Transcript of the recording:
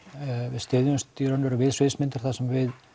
við styðjumst í raun og veru við sviðsmyndir þar sem við